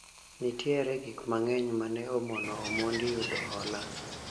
nitiere gik mang'eny mane omono Omondi yudo hola